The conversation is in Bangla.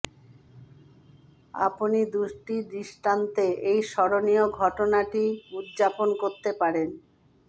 আপনি দুটি দৃষ্টান্তে এই স্মরণীয় ঘটনাটি উদযাপন করতে পারেন